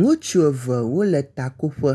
Ŋutsu eve wo le takoƒe.